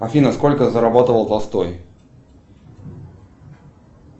афина сколько зарабатывал толстой